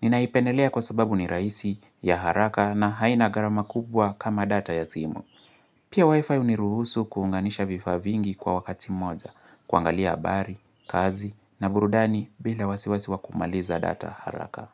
Ninaipendelea kwa sababu ni raisi ya haraka na haina garama kubwa kama data ya simu. Pia wifi uniruhusu kuunganisha vifaa vingi kwa wakati mmoja, kuangalia habari, kazi na burudani bila wasiwasiwa kumaliza data haraka.